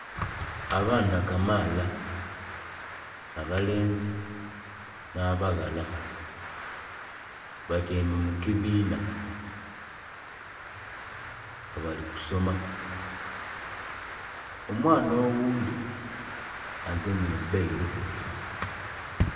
Abaana kamaaala abalenzi na'baghala batyaime mu kibina nga bali kusoma, omwaana oghundhi agemye ebbairo.